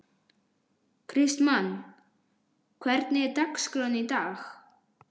Kristmann, hvernig er dagskráin í dag?